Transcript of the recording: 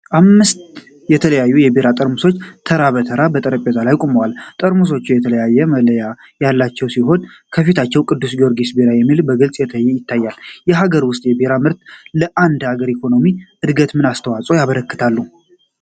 አምስት የተለያዩ የቢራ ጠርሙሶች ተራ በተራ በጠረጴዛ ላይ ቆመዋል። ጠርሙሶቹ የተለያዩ መለያዎች ያሉት ሲሆን፣ ከፊታቸው "ቅዱስ ጊዮርጊስ ቢራ" የሚል በግልጽ ይታያል። የሀገር ውስጥ የቢራ ምርቶች ለአንድ አገር ኢኮኖሚ ዕድገት ምን አስተዋፅዖ ያበረክታሉ?